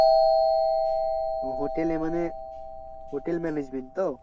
হোটেলে মানে hotel management তো?